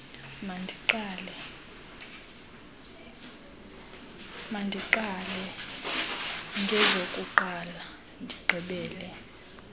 mandiqale ngezokuqala ndigqibele